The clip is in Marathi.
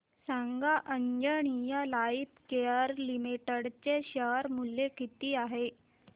सांगा आंजनेया लाइफकेअर लिमिटेड चे शेअर मूल्य किती आहे